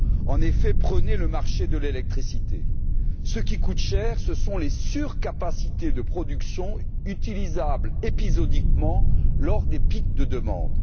En effet, prenons le marché de l'électricité ce qui est cher, ce sont les surcapacités de production utilisables épisodiquement, lors des pics de demande.